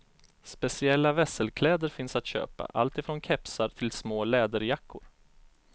Speciella vesselkläder finns att köpa, alltifrån kepsar till små läderjackor.